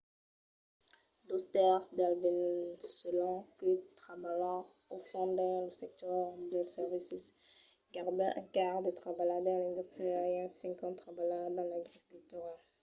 dos tèrces dels veneçolans que trabalhan o fan dins lo sector dels servicis gaireben un quart trabalha dins l’industria e un cinquen trabalha dins l’agricultura